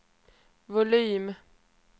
volym